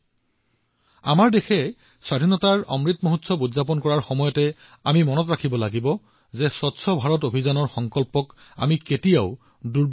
আজি যেতিয়া আমাৰ দেশে স্বাধীনতাৰ অমৃত মহোৎসৱ উদযাপন কৰি আছে আমি মনত ৰাখিব লাগিব যে আমি কেতিয়াও স্বচ্ছ ভাৰত অভিযানৰ সংকল্পক লেহেম হবলৈ দিব নালাগে